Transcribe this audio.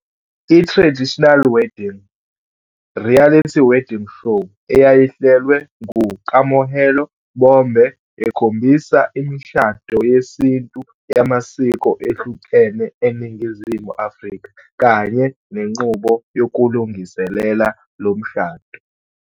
I-Traditional Wedding - Reality wedding show eyayihlelwe nguKamohelo Bombe ekhombisa imishado yesintu yamasiko ehlukene eNingizimu Afrika kanye nenqubo yokulungiselela lo mshado.